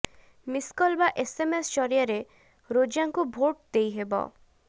miss call ବା SMS ଜରିଆରେ ରୋଜାଙ୍କୁ ଭୋଟ ଦେଇହେବ